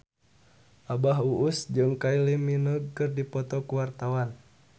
Abah Us Us jeung Kylie Minogue keur dipoto ku wartawan